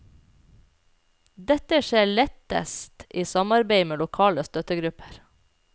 Dette skjer lettes i samarbeid med lokale støttegrupper.